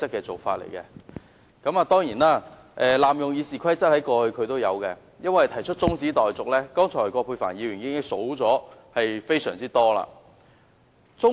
他過去亦曾濫用《議事規則》，提出中止待續議案，葛珮帆議員剛才已列出非常多例子。